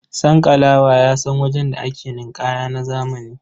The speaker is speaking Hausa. Sankalawa ya san wajen da ake ninƙaya na zamani.